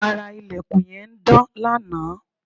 ara ilẹ̀kùn yẹn ń dán lanaa